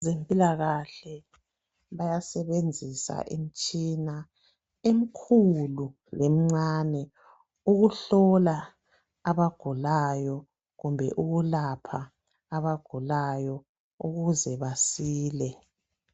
Abezempilakahle bayasebenzisa imitshina emikhulu lemincane ukuhlola abagulayo kumbe ukulapha abagulayo ukuze basile.